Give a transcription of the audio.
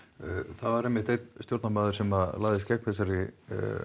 það var einmitt einn stjórnarmaður sem lagðist gegn þessari